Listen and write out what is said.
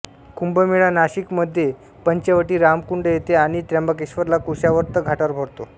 कुंभ मेळा नाशिक मध्ये पंचवटीरामकुंड येथे आणि त्र्यंबकेश्वरला कुशावर्त घाटावर भरतो